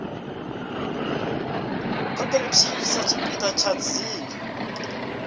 cooperative sa tshipiḓa tsha dzina